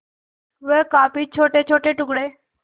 वह काफी छोटेछोटे टुकड़े